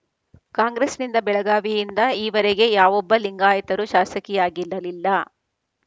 ಕಾಂಗ್ರೆಸ್‌ನಿಂದ ಬೆಳಗಾವಿಯಿಂದ ಈವರೆಗೆ ಯಾವೊಬ್ಬ ಲಿಂಗಾಯತರೂ ಶಾಸಕಿಯಾಗಿರಲಿಲ್ಲ